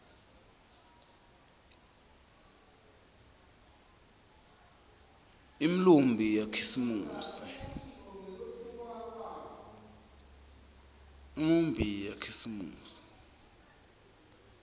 imiumbi yakhisimusi